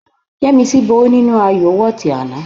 Yẹ́misí borí nínú ayọ̀ wọ́ọ̀tì àná